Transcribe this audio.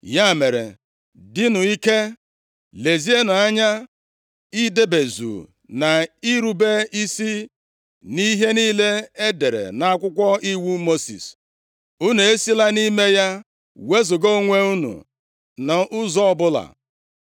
“Ya mere, dịnụ ike, lezienụ anya idebezu na irube isi nʼihe niile e dere nʼAkwụkwọ Iwu Mosis. Unu esila nʼime ya wezuga onwe unu nʼụzọ ọbụla.